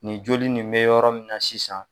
Nin joli nin be yɔrɔ min na sisan